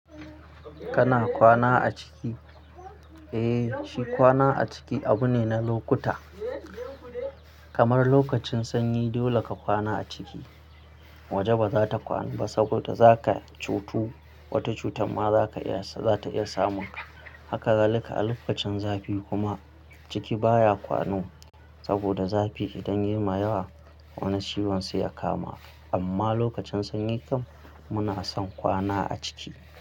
Kana kwana a ciki? Eh, shi kwana a ciki abu ne na lokuta. Kamar lokacin sanyi dole ka kwana a ciki. Waje bazata kwana ba saboda zaka cutu. Wata cutar ma zaka iya, za ta iya samun ka. Haka zalika a lokacin zafi kuma ciki baya kwano saboda zafi idan yayi ma yawa wani ciwon sai ya kama. Amma lokacin sanyi kam muna son kwana a ciki.